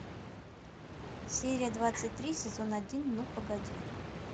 серия двадцать три сезон один ну погоди